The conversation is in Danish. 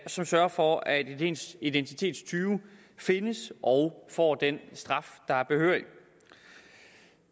som sørger for at identitetstyve findes og får den straf der er behørig